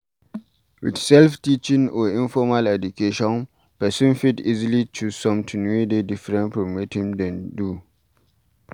With self teaching or informal education person fit easily choose something wey dey differnt from wetin dem dey do